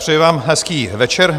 Přeji vám hezký večer.